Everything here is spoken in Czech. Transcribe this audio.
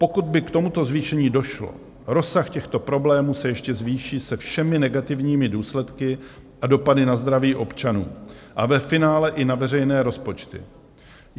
Pokud by k tomuto zvýšení došlo, rozsah těchto problémů se ještě zvýší se všemi negativními důsledky a dopady na zdraví občanů a ve finále i na veřejné rozpočty.